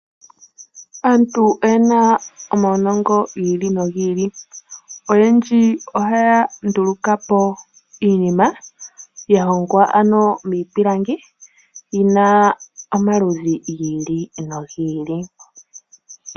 Aantu oye na omaunongo gi ili nogi ili. Oyendji ohaya nduluka po iinima ya hongwa miipilangi yi na omaludhi gi ili nogi ili.